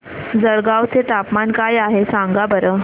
जळगाव चे तापमान काय आहे सांगा बरं